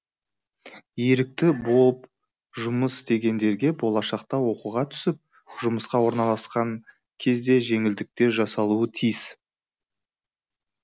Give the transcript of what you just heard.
ерікті боп жұмыс істегендерге болашақта оқуға түсіп жұмысқа орналасқан кезде жеңілдіктер жасалуы тиіс